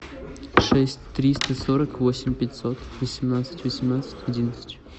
шесть триста сорок восемь пятьсот восемнадцать восемнадцать одиннадцать